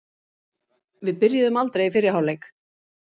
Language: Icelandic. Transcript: Við byrjuðum aldrei í fyrri hálfleik.